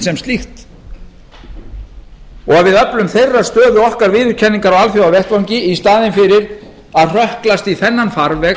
sem slíkt og við öflum þeirra stöðu okkar viðurkenningar á alþjóðavettvangi í staðinn fyrir að hrökklast í þennan farveg